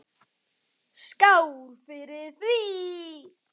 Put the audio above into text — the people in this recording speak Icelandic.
Skál fyrir því.